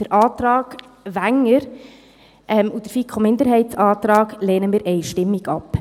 Den Antrag Wenger und den FiKo-Minderheitsantrag lehnen wir einstimmig ab;